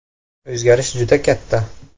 O‘zgarish juda katta.